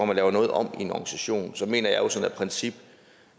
man laver noget om i en organisation så mener jeg jo som princip